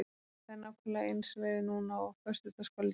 Það er nákvæmlega eins veður núna og á föstudagskvöldið á fjallinu.